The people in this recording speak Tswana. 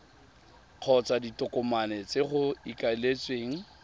kgotsa ditokomane tse go ikaeletsweng